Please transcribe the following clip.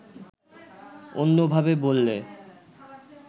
অন্যভাবে বললে